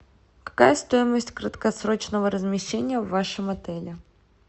какая стоимость краткосрочного размещения в вашем отеле